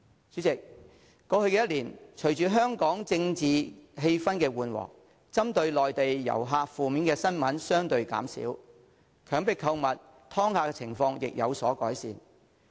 主席，過去一年，隨着香港的政治氣氛緩和，針對內地旅客的負面新聞相對減少，強迫購物和"劏客"的情況亦有所改善。